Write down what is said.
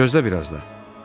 Gözlə biraz da.